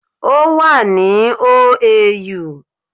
Ó wà ni OAU